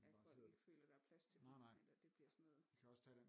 At folk ikke føler der er plads til dem eller at det bliver sådan noget